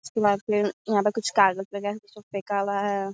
इसके बाद फिर यहाँ पे कुछ कागज वगेरा नीचे फेंका हुआ है।